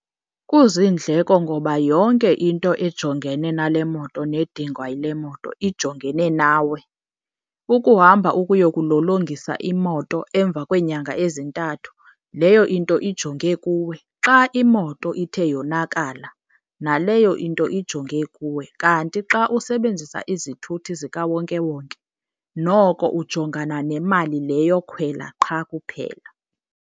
Kuziindleko ngoba yonke into ejongene nale moto nedingwa yile moto ijongene nawe. Ukuhamba ukuyokulolongisa imoto emva kweenyanga ezintathu leyo into ijonge kuwe. Xa imoto ithe yonakala, naleyo into ijonge kuwe. Kanti xa usebenzisa izithuthi zikawonkewonke noko ujongana nemali le yokhwela qha kuphela.